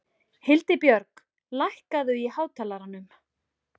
Hildibjörg, lækkaðu í hátalaranum.